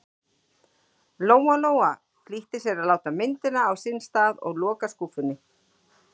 Lóa-Lóa flýtti sér að láta myndina á sinn stað og loka skúffunni.